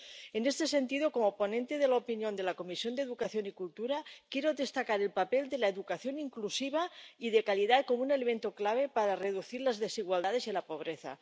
En ese sentido, como ponente de opinión de la Comisión de Educación y Cultura, quiero destacar el papel de la educación inclusiva y de calidad como un elemento clave para reducir las desigualdades y la pobreza